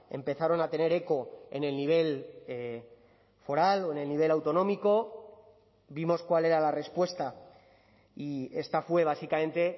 empezaron a tener eco en el nivel foral o en el nivel autonómico vimos cuál era la respuesta y esta fue básicamente